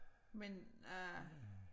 Men øh